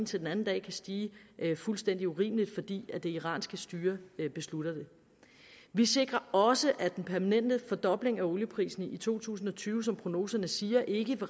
til den anden kan stige fuldstændig urimeligt fordi det iranske styre beslutter det vi sikrer også at den permanente fordobling af olieprisen i to tusind og tyve som prognoserne siger ikke